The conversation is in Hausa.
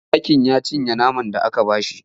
Zakin ya cinye naman da aka ba shi.